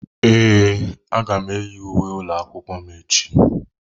Ee, aga m eyi uwe ụlọ akwụkwọ m echi.